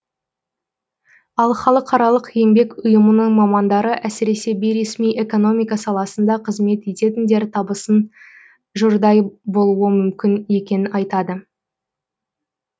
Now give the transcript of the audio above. ал халықаралық еңбек ұйымының мамандары әсіресе бейресми экономика саласында қызмет ететіндер табысын жұрдай болуы мүмкін екенін айтады